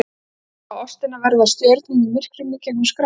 Horfa á ástina verða að stjörnum í myrkrinu í gegnum skráargat.